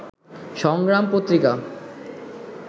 সংগ্রাম পত্রিকা